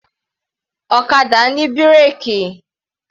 Ọ̀kadà ní bírèkì.